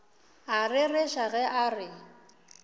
a rereša ge a re